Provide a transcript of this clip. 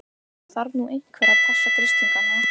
Það þarf nú einhver að passa grislingana.